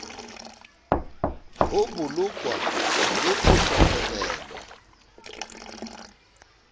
ho bolokwa le ho hlokomelwa